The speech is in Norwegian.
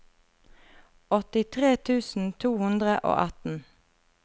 åttitre tusen to hundre og atten